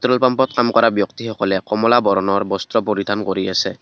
Petrol পাম্পত কাম কৰা ব্যক্তিসকলে কমলা বৰণৰ বস্ত্ৰ পৰিধান কৰি আছে।